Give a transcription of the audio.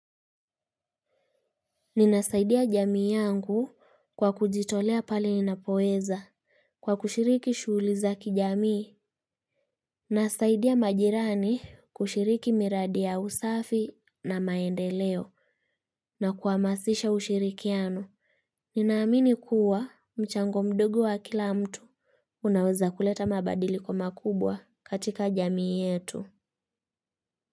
Ninasaidia jamii yangu kwa kujitolea pale ninapoweza kwa kushiriki shughuli za kijamii. Nasaidia majirani kushiriki miradi ya usafi na maendeleo na kuhamasisha ushirikiano. Ninaamini kuwa mchango mdogo wa kila mtu unaweza kuleta mabadiliko makubwa katika jamii yetu.